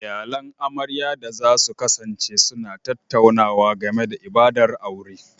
Iyalan amaryar da za su kasance suna tattaunawa game da ibadar aure